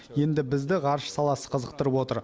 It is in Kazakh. енді бізді ғарыш саласы қызықтырып отыр